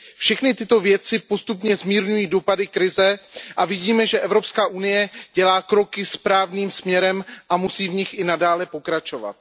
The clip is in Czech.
Všechny tyto věci postupně zmírňují dopady krize a vidíme, že Evropská unie dělá kroky správným směrem a musí v nich i nadále pokračovat.